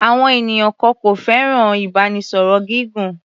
Àwọn ènìyàn kan kò fẹ́ràn ìbánisọ̀rọ̀ gígùn.